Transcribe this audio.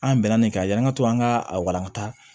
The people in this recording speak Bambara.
An bɛnna nin kan yan an ka to an ka a walankata